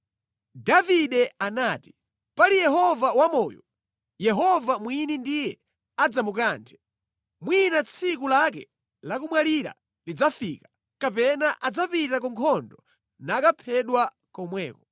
Davide anati, Pali Yehova wamoyo, Yehova mwini ndiye adzamukanthe, mwina tsiku lake lomwalira lidzafika, kapena adzapita ku nkhondo nakaphedwa komweko.